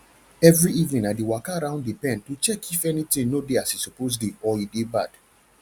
every evening i dey waka round the pen to check if anything no dey as e suppose dey or dey bad